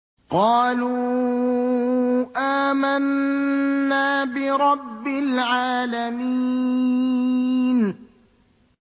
قَالُوا آمَنَّا بِرَبِّ الْعَالَمِينَ